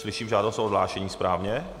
Slyším žádost o odhlášení správně?